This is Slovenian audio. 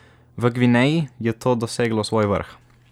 V Gvineji je to doseglo svoj vrh.